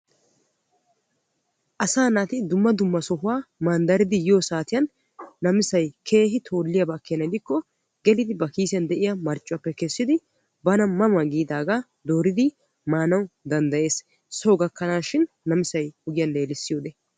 asaa naati dumma dumma sohuwa manddaridi yiyo saatiyan namisay keehi toolliyaba gidikko gelidi ba kiisiyan de'iya marccuwaappe kessidi bana ma ma giidaagaa dooridi maanawu danddayees. soo gakkanaashin namisay ogiyan leelissiyode.